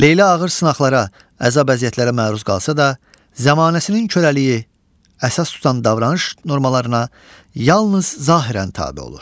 Leyla ağır sınaqlara, əzab-əziyyətlərə məruz qalsa da, zəmanəsinin körəliyi əsas tutan davranış normalarına yalnız zahirən tabe olur.